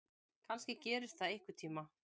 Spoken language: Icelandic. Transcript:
Kannski gerist það einhvern tíma.